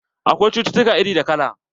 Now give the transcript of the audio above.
Akwai cucutuka iri da kala.